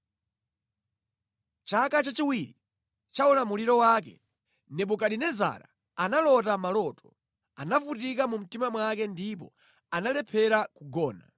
Chaka chachiwiri cha ulamuliro wake, Nebukadinezara analota maloto; anavutika mu mtima mwake ndipo analephera kugona.